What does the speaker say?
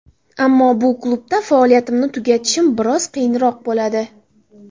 Ammo bu klubda faoliyatimni tugatishim biroz qiyinroq bo‘ladi.